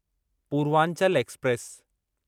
Purvanchal express